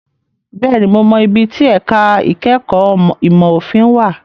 Bẹ́ẹ̀ni, mo mọ ibi tí ẹ̀ka ìkẹ́kọ̀ọ́ ìmọ̀ òfin wà.